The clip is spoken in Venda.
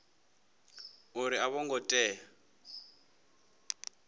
uri a vho ngo tea